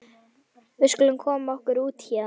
Við skulum koma okkur út héðan.